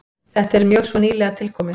Þetta er mjög svo nýlega tilkomið.